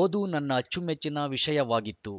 ಓದು ನನ್ನ ಅಚ್ಚುಮೆಚ್ಚಿನ ವಿಷಯವಾಗಿತ್ತು